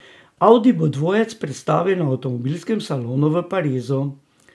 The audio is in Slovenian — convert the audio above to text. Audi bo dvojec predstavil na avtomobilskem salonu v Parizu.